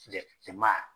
Jɛma